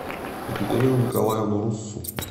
екатерину николаевну руссу